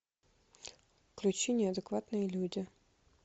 включи неадекватные люди